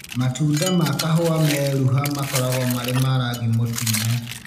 Matunda ma kahũwa meruha makoragwo marĩ ma rangi mũtune.